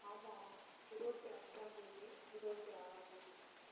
ஆமா இருவத்தி அஞ்சாம் தேதி இருவத்தி ஆறாம் தேதி